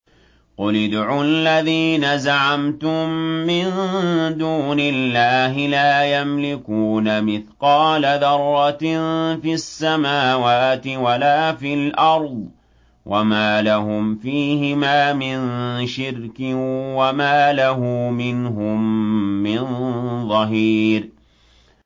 قُلِ ادْعُوا الَّذِينَ زَعَمْتُم مِّن دُونِ اللَّهِ ۖ لَا يَمْلِكُونَ مِثْقَالَ ذَرَّةٍ فِي السَّمَاوَاتِ وَلَا فِي الْأَرْضِ وَمَا لَهُمْ فِيهِمَا مِن شِرْكٍ وَمَا لَهُ مِنْهُم مِّن ظَهِيرٍ